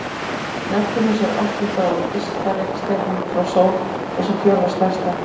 Neptúnus er áttunda og ysta reikistjarnan frá sól og sú fjórða stærsta.